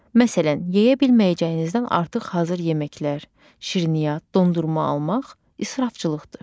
Məsələn, yeyə bilməyəcəyinizdən artıq hazır yeməklər, şirniyyat, dondurma almaq israfçılıqdır.